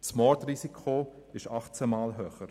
Das Mordrisiko ist achtzehnmal höher.